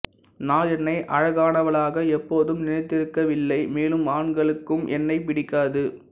நான் என்னை அழகானவளாக எப்போதும் நினைத்திருக்கவில்லை மேலும் ஆண்களுக்கும் என்னைப் பிடிக்காது